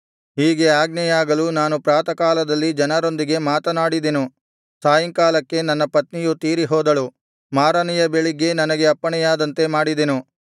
ಹೀಗೆ ಆಜ್ಞೆಯಾಗಲು ನಾನು ಪ್ರಾತಃಕಾಲದಲ್ಲಿ ಜನರೊಂದಿಗೆ ಮಾತನಾಡಿದನು ಸಾಯಂಕಾಲಕ್ಕೆ ನನ್ನ ಪತ್ನಿಯು ತೀರಿಹೋದಳು ಮಾರನೆಯ ಬೆಳಿಗ್ಗೆ ನನಗೆ ಅಪ್ಪಣೆಯಾದಂತೆ ಮಾಡಿದೆನು